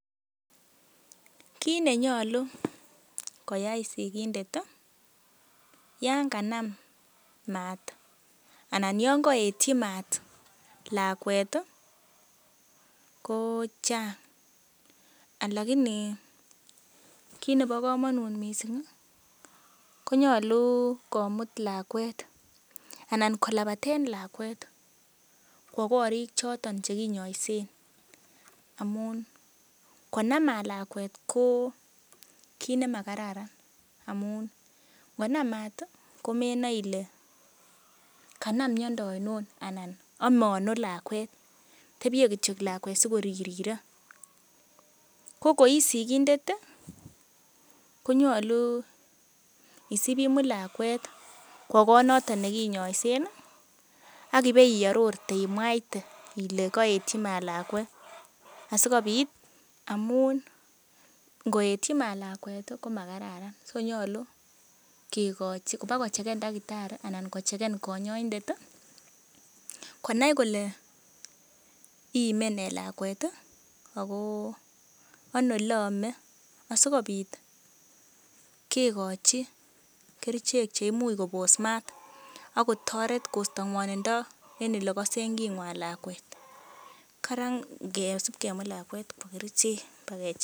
Kit nenyolu koyai sigindet ii yon kanam maat anan yon koetyi maat lakwet ko chang, anan kile kit nebo komonut mising, nyolu komut lakwet anan kolabaten lakwet kwo korik choton che kinyoisen. Amun konam maat lakwet ko kit nemakararan amun ngo nam maat komenae ile kanam miondo ainon anan ome ano lakwet, tebye kityo lakwet sikoririre. Ko koi sigindet konyolu isib imut lakwet kwo koot noto nekinyoisen ak ibei arorji imwaite ile koetyi maat lakwet asikobit amun koetyi maat lakwet komararan so nyolu boko checken tagitari anan konyoindet konai kole iime nee lakwet ago ano ole ome asikobit kegochi kerichek che imuch kobos ak kotoret en ole kosen king'wan lakwet. Karan ngesib kemut lakwet kwo kerichek.